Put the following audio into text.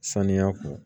Saniya kun